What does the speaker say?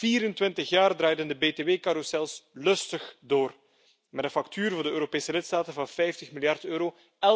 24 jaar draaiden de btw carrousels lustig door met een factuur voor de Europese lidstaten van 50 miljard euro.